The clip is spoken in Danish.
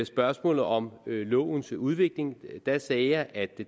spørgsmålet om lovens udvikling sagde jeg at